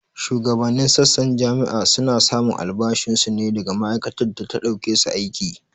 Shugabanin sassan jami'a su na samun albashin su ne daga ma'aikatar da ta ɗauke su aiki